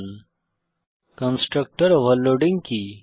httpwwwspoken tutorialঅর্গ constructor overloading কি